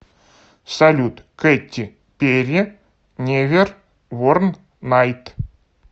салют кэтти перри невер ворн найт